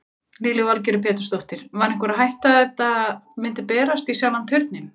Lillý Valgerður Pétursdóttir: Var einhver hætta að þetta myndi berast í sjálfan Turninn?